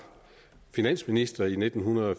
finansminister i nitten